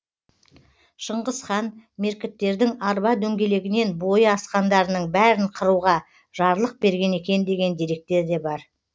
шыңғыс хан меркіттердің арба дөңгелегінен бойы асқандарының бәрін қыруға жарлық берген екен деген деректер де бар